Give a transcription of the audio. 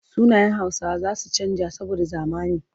Sunayen Hausawa za su canja saboda zamani.